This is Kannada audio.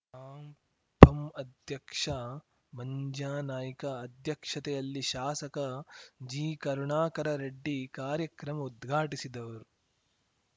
ಆಮ್ ಪಂ ಅಧ್ಯಕ್ಷ ಮಂಜ್ಯಾನಾಯ್ಕ ಅಧ್ಯಕ್ಷತೆಯಲ್ಲಿ ಶಾಸಕ ಜಿಕರುಣಾಕರ ರೆಡ್ಡಿ ಕಾರ್ಯಕ್ರಮ ಉದ್ಘಾಟಿಸಿದವರು